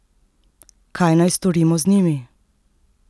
Kaj naj storimo z njimi?